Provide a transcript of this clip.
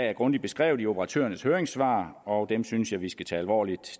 er grundigt beskrevet i operatørernes høringssvar og dem synes jeg vi skal tage alvorligt